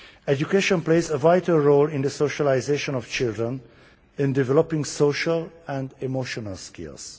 Education plays a vital role in the socialisation of children, in developing social and emotional skills.